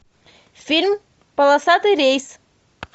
фильм полосатый рейс